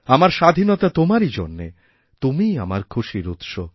আমার স্বাধীনতা তোমারইজন্যে তুমিই আমার খুশির উৎস